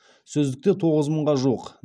сөздікте тоғыз мыңға жуық